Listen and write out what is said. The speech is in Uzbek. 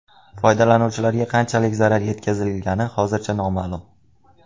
Foydalanuvchilarga qanchalik zarar yetkazilgani hozircha noma’lum.